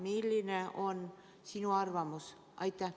Milline on sinu arvamus?